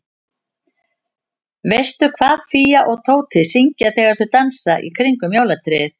Veistu hvað Fía og Tóti syngja þegar þau dansa í kringum jólatréð?